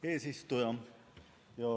Hea eesistuja!